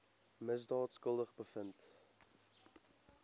misdaad skuldig bevind